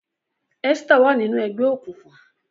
Esther wa nínú ègbé òkùnkùn.